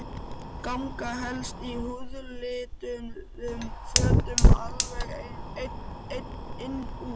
Ganga helst í húðlituðum fötum alveg inn úr.